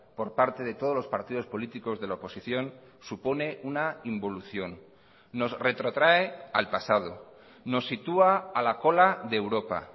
por parte de todos los partidos políticos de la oposición supone una involución nos retrotrae al pasado nos sitúa a la cola de europa